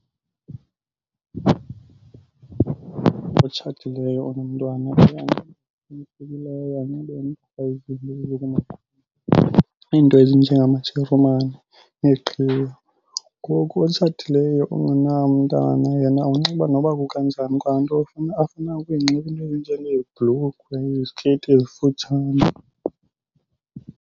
Otshatileyo onomntwana iinto ezinjengamajarumani neeqhiya. Ngoku otshatileyo ongenaye umntana yena unxiba noba kukanjani kwanto afuna ukuyinxiba iinto ezinjengeebhlukhwe nezikeyiti ezifutshane.